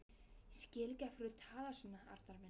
Ég skil ekki af hverju þú talar svona, Arnar minn.